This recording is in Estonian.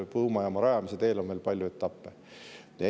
Tuumajaama rajamise teel on veel palju etappe.